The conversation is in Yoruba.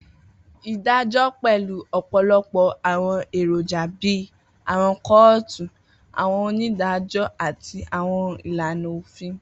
Idajọ pẹlu ọpọlọpọ awọn eroja bii awọn kootu, awọn onidajọ, ati awọn ilana ofin.